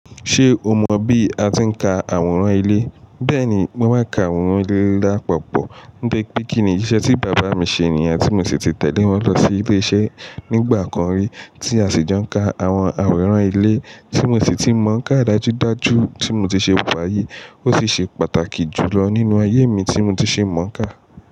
Ṣé o mọ bí a ti ń ka àwòrán ilé? Bẹ́ẹ̀ni, mo máa ń ka àwòrán ilé lápapọ̀. Be pé kìíní iṣẹ́ tí bàbá mi ṣe niyen tí mo sì ti tẹ̀lé wọn lọ sí ilé iṣẹ́ nígbà kan rí tí a sì jo n ka àwọn àwòrán ilé tí mo sì ti mọ̀ọ́ ká dájúdájú tí mo ti ṣe wa yìí ó sì ṣe pàtàkì jù lọ nínú ayé mi tí mo ti ṣe mọ̀ọ́ ká.